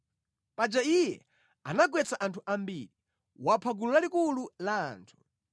Paja iye anagwetsa anthu ambiri; wapha gulu lalikulu la anthu.